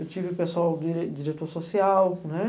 Eu tive pessoal, diretor social, né?